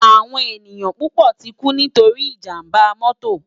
Áwòn éniyàn púpò tikú nitóri ijàmbá mòtó